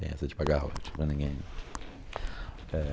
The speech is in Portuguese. Tem essa de pagar royalty para ninguém não. Eh...